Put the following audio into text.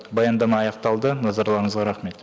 баяндама аяқталды назарларыңызға рахмет